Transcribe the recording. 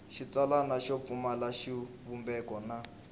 xitsalwana xo pfumala xivumbeko na